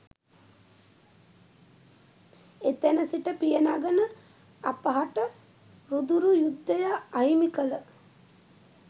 එතැන සිට පියනගන අපහට රුදුරු යුද්ධය අහිමි කළ